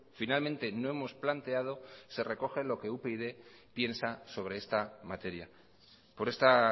finalmente no hemos planteado se recoge lo que upyd piensa sobre esta materia por esta